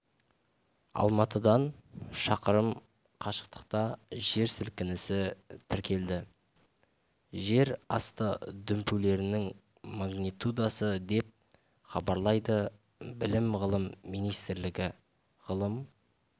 алматыдан шақырым қашықтықта жер сілкінісі тіркелді жер асты дүмпулерінің магнитудасы деп хабарлайды білім ғылым министрлігі ғылым